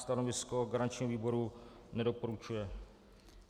Stanovisko garančního výboru: nedoporučuje.